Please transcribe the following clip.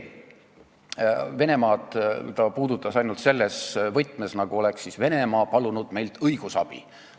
Venemaad on ta puudutanud ainult selles võtmes, nagu oleks Venemaa meilt õigusabi palunud.